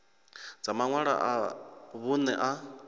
dza maṅwalo a vhuṋe a